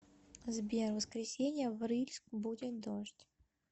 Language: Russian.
сбер в воскресенье в рыльск будет дождь